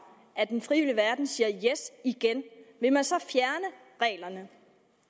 at den frivillige verden siger ja igen vil man så fjerne reglerne